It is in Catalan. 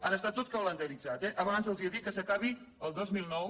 ara està tot calendaritzat eh abans els he dit que s’acabi el dos mil nou